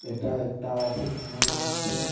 এটা একটা অফিস মনে হচ্ছে.